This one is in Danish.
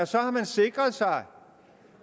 så har sikret sig